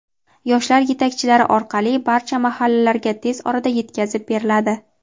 yoshlar yetakchilari orqali barcha mahallalarga tez orada yetkazib beriladi.